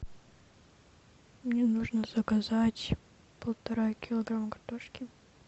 мне нужно заказать полтора килограмма картошки